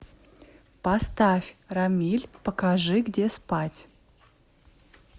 поставь рамиль покажи где спать